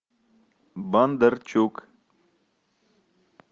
бондарчук